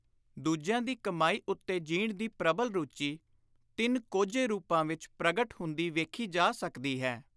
ਦੂਜਿਆਂ ਦੀ ਕਮਾਈ ਉੱਤੇ ਜੀਣ ਦੀ ਪ੍ਰਬਲ ਰੁਚੀ ਤਿੰਨ ਕੋਝੇ ਰੂਪਾਂ ਵਿਚ ਪ੍ਰਗਟ ਹੁੰਦੀ ਵੇਖੀ ਜਾ ਸਕਦੀ ਹੈ।